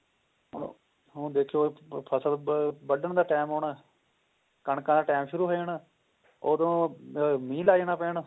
ਹੁਣ ਦੇਖਿਓ ਫਸਲ ਵੱਡਣ ਦਾ time ਆਉਣਾ ਕਣਕਾਂ ਦਾ time ਸ਼ੁਰੂ ਹੋ ਜਾਣਾ ਉਹਦੋ ਮੀਹ ਲਗ ਜਾਣਾ ਪੈਣ